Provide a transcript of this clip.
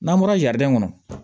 N'an bɔra kɔnɔ